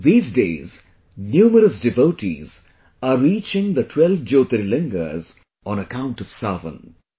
These days numerous devotees are reaching the 12 Jyotirlingas on account of 'Sawan'